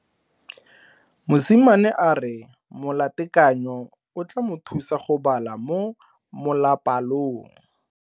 Mosimane a re molatekanyo o tla mo thusa go bala mo molapalong.